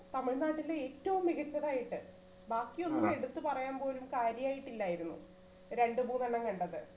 തമിഴ്നാട്ടിലെ ഏറ്റവും മികച്ചത് ആയിട്ട് ബാക്കിയൊന്നും എടുത്തു പറയാൻ പോലും കാര്യായിട്ട് ഇല്ലായിരുന്നു. രണ്ടുമൂന്നെണ്ണം കണ്ടത്